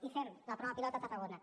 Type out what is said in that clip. i fem la prova pilot a tarragona